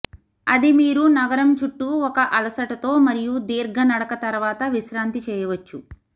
అది మీరు నగరం చుట్టూ ఒక అలసటతో మరియు దీర్ఘ నడక తర్వాత విశ్రాంతి చేయవచ్చు